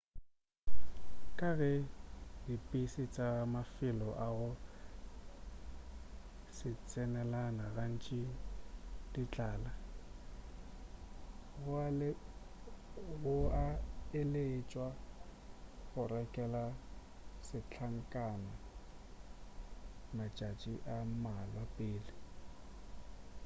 ka ge dipese tša mafelo a go tsenelana gantši di tlala go a eletšwa go rekela setlankana matšatši a mmalwa pele